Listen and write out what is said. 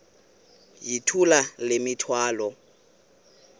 yithula le mithwalo